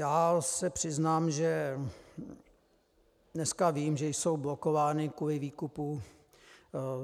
Já se přiznám, že dneska vím, že jsou blokovány kvůli výkupu